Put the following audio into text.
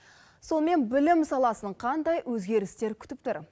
сонымен білім саласын қандай өзгерістер күтіп тұр